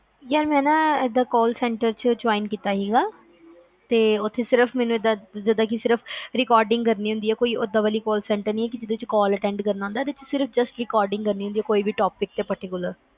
ਯਾਰ ਮੈਂ ਨਾ ਏਦਾਂ call center ਚ join ਕੀਤਾ ਸੀਗਾ ਉਥੇ ਸਿਰਫ ਮੈਨੂੰ ਜਿਦਾ justrecording ਕਰਨੀ ਹੁੰਦੀ ਕੇ ਕੋਈ ਓਦਾਂ ਵਾਲੀ call center ਨੀ ਕੇ ਜਿੰਦੇ ਵਿਛ call attend ਕਰਨ ਹੁੰਦੀ ਆ ਸਿਰਫ rrecording ਕਰਨੀ ਹੁੰਦੀ ਆ ਕਿਸੇ topic ਤੇ particular